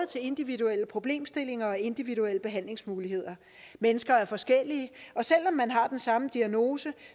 til individuelle problemstillinger og individuelle behandlingsmuligheder mennesker er forskellige og selv om man har den samme diagnose